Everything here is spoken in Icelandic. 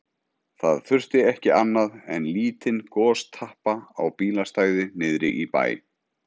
Það þurfti ekki annað en lítinn gostappa á bílastæði niðri í bæ.